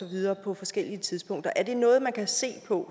videre på forskellige tidspunkter er det noget man kan se på